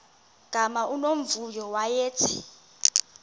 gama unomvuyo wayethe